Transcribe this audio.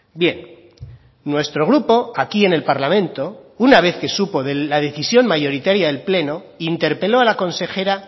bien nuestro grupo aquí en el parlamento una vez que supo de la decisión mayoritaria del pleno interpeló a la consejera